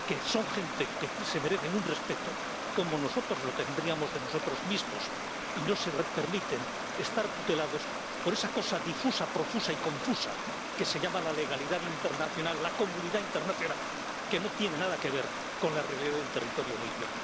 son gente que se merece un respeto, como nosotros lo tendríamos hacia nosotros mismos, y no permiten estar tutelados por esa cosa difusa, profusa y confusa que se llama la legalidad internacional, la comunidad internacional, que no tiene nada que ver con la realidad del territorio libio.